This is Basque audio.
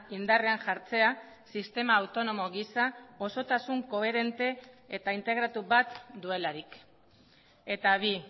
indarrean jartzea sistema autonomo gisa osotasun koherente eta integratu bat duelarik eta bi